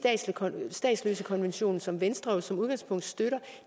statsløsekonventionen som venstre jo som udgangspunkt støtter